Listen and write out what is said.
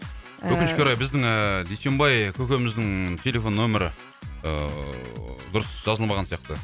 ы өкінішке орай біздің ыыы дүйсенбай көкеміздің телефон нөмірі ыыы дұрыс жазылмаған сияқты